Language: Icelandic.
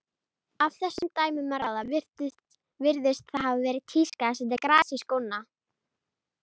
Af þessum dæmum að ráða virðist það hafa verið tíska að setja gras í skóna.